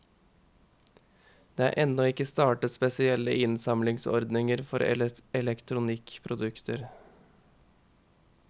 Det er ennå ikke startet spesielle innsamlingsordninger for elektronikkprodukter.